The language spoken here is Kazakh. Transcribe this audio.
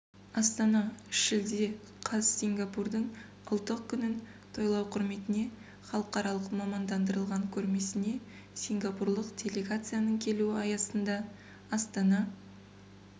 астана шілде қаз сингапурдың ұлттық күнін тойлау құрметіне халықаралық мамандандырылған көрмесіне сингапурлық делегацияның келуі аясында астана